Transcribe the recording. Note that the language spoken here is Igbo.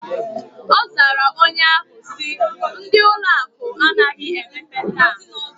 Ozara onye ahu si: Ndi ụlọ akụ anaghi emepe taa.